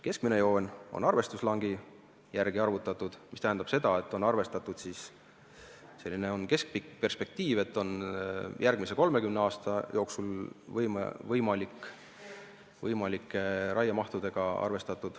Keskmine joon on arvestuslangi järgi arvutatud, mis tähendab seda, et on arvestatud sellise keskpika perspektiivi, st järgmise 30 aasta jooksul võimalike raiemahtudega.